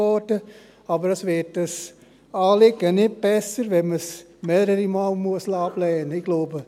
Aber ein Anliegen wird nicht besser, wenn man es mehrere Male ablehnen lassen muss.